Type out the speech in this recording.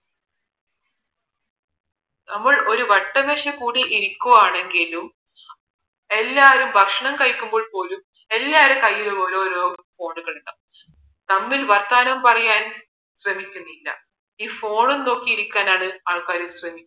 നമ്മൾ ഒരു വട്ടമേശയിൽ കൂടി ഇരുക്കുവാണെങ്കിലും എല്ലാവരും ഭക്ഷണം കഴിക്കുമ്പോൾ പോലും എല്ലാരെ കയ്യിലും ഓരോരോ phone കൾ ഉണ്ടാകും തമ്മിൽ വർത്താനം പറയാൻ ശ്രമിക്കുന്നില്ല ഈ phone നോക്കി ഇരിക്കാനാണ് ആൾക്കാർ ശ്രമിക്കുന്നത്